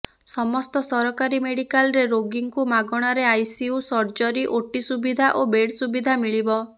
ସମସ୍ତ ସରକାରୀ ମେଡିକାଲରେ ରୋଗୀଙ୍କୁ ମାଗଣାରେ ଆଇସିୟୁ ସର୍ଜରୀ ଓଟି ସୁବିଧା ଓ ବେଡ୍ ସୁବିଧା ମିଳିବ